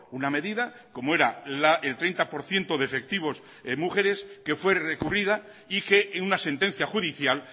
una medida como era el treinta por ciento de efectivos de mujeres que fue recurrida y que en una sentencia judicial